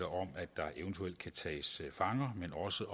om at der eventuelt kan tages fanger men også